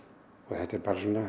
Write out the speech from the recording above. þetta er